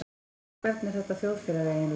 Og hvernig er þetta þjóðfélag eiginlega?